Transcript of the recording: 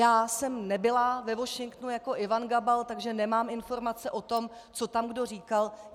Já jsem nebyla ve Washingtonu jako Ivan Gabal, takže nemám informace o tom, co tam kdo říkal.